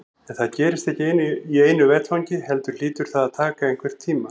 En það gerist ekki í einu vetfangi heldur hlýtur það að taka einhvern tíma.